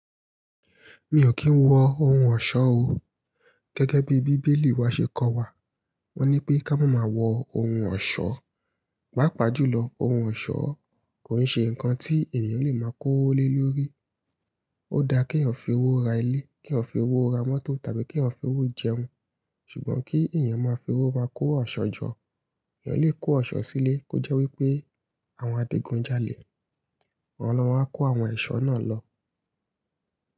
Mi ò kí ń wọ ohun ọ̀ṣọ́ o. Gẹ́gẹ́ bí Bíbélì wa ṣe kọ́ wa, wọ́n ní pé ká máa máa wọ ohun ọ̀ṣọ́. Pápa jùlọ, ohun ọ̀ṣọ́ kò nse nǹkan tí ènìyàn lè máa kó wọlé lórí. Ó dáa kí èèyàn fi owó ra ilé, kí èèyàn fi owó ra mọ́tò tàbí kí èèyàn fi owó jẹun. Ṣùgbọ́n kí èèyàn máa fi owó máa kó ọ̀ṣọ́ jọ, èle lè kó ọ̀ṣọ́ sílé, kó jẹ́ wípé àwọn adigun ń jalè. Àwọn lo ma wá kó àwọn ẹ̀ṣọ́ náà lọ.